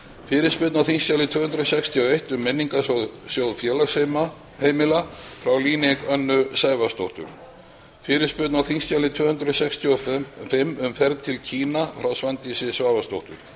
fyrirspurn á þingskjali tvö hundruð sextíu og eitt um menningarsjóð félagsheimila frá líneik önnu sævarsdóttur fyrirspurn á þingskjali tvö hundruð sextíu og fimm um ferð til kína frá svandísi svavarsdóttur